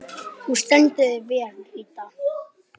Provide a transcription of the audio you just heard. Þú stendur þig vel, Ríta!